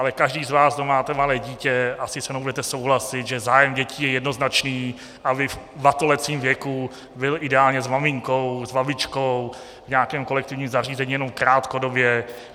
Ale každý z vás, kdo máte malé dítě, asi se mnou budete souhlasit, že zájem dětí je jednoznačný, aby v batolecím věku byl ideálně s maminkou, s babičkou, v nějakém kolektivním zařízení jenom krátkodobě.